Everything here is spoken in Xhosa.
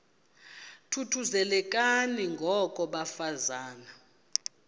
thuthuzelekani ngoko bafazana